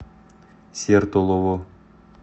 сертолово